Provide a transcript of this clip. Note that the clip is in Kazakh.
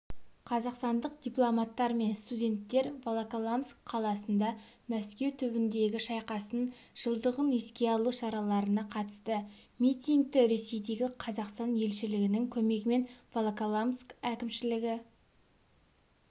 қазақстандық дипломаттар мен студенттер волоколамск қаласында мәскеу түбіндегі шайқастың жылдығын еске алу шараларына қатысты митингті ресейдегі қазақстан елшілігінің көмегімен волоколамск әкімшілігі